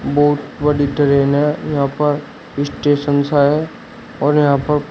बहुत बड़ी ट्रेन है यहां पर स्टेशन सा है और यहां पर--